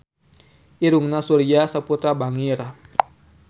Irungna Surya Saputra bangir